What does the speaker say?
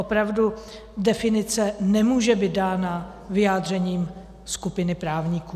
Opravdu, definice nemůže být dána vyjádřením skupiny právníků.